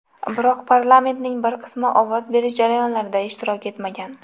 Biroq parlamentning bir qismi ovoz berish jarayonlarida ishtirok etmagan.